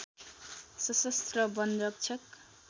सशस्त्र वनरक्षक